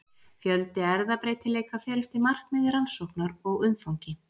Fjöldi erfðabreytileika fer eftir markmiði rannsóknar og umfangi.